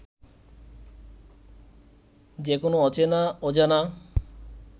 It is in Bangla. যে কোন অচেনা অজানা